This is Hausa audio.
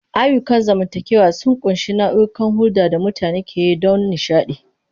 Ayyukan zamantakewa sun ƙunshi nau'ikan hulɗar da mutane ke yi don nishaɗi.